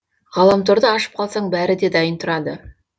ғаламторды ашып қалсаң бәрі де дайын тұрады